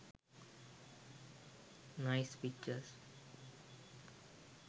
nice pictures